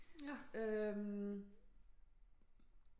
Øh